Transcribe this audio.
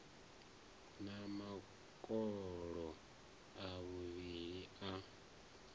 na makolo a muvhili a